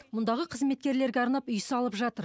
мұндағы қызметкерлерге арнап үй салып жатыр